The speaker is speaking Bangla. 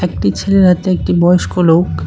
একটি ছেলের হাতে একটি বয়স্ক লোক।